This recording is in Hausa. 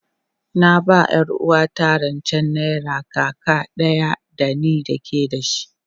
Na ba ma yar uwarta rance naira kaka daya da ni ke da shi,